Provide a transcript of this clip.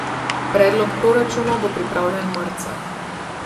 Predlog proračunov bo pripravljen marca.